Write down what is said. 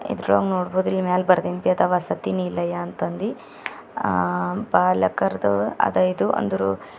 ಇದ್ರಾಗ ನೋಡಬೋದು ಇಲ್ ಮ್ಯಾಲ್ ಬರ್ದಿಂದ ವಸತಿ ನಿಲಯ ಅಂತಂದಿ ಆ ಬಾಲಕರ್ದು ಅದೋ ಇದೋ ಅಂದ್ರು --